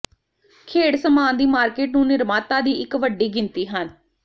ਖੇਡ ਸਾਮਾਨ ਦੀ ਮਾਰਕੀਟ ਨੂੰ ਨਿਰਮਾਤਾ ਦੀ ਇੱਕ ਵੱਡੀ ਗਿਣਤੀ ਹਨ